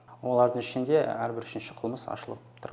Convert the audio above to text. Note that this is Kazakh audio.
олардың ішінде әрбір үшінші қылмыс ашылып тұр